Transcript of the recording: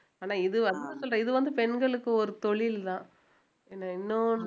ஆனா இது வந்து சொல்றேன் இது வந்து பெண்களுக்கு ஒரு தொழில்தான் இன்னும்